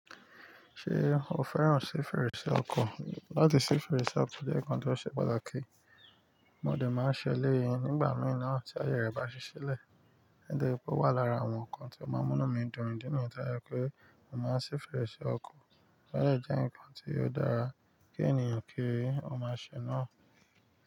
Ṣé o fẹ́ràn sí fèrèsé ọkọ̀? Látì sí fèrèsé ọkọ̀ jẹ́ nkán tó ṣe pàtàkì, mo dẹ̀ máa ń ṣe léyìn nígbà mìíràn tí ayé rẹ bá ṣiṣẹ́ lẹ̀. Di pé ó wà lára àwọn nkán tí ó máa ń mú mí dùn dín ní ìta yẹ kó màá ṣí fèrèsé ọkọ̀, ó lè jẹ́ nkán tí ó dára kí ènìyàn kí ó máa ṣe náà.